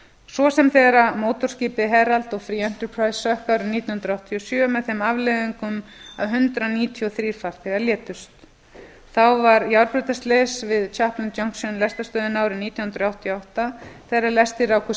svo sem þegar mótorskipið herald of free enterprise sökk árið nítján hundruð áttatíu og sjö með þeim afleiðingum að hundrað níutíu og þrír farþegar létust þá varð járnbrautarslys við clapham junction lestarstöðina árið nítján hundruð áttatíu og átta þegar lestir rákust